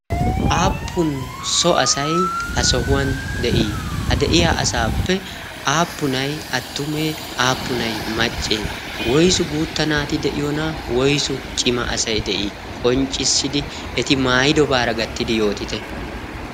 aappun so asay ha sohuwan de'ii ha de'iya asaappe aappunay attumee aappunai maccee woisu guutta naati de'iyoona woysu cima asay de'ii qonccissidi eti maayidobaara gattidi yootite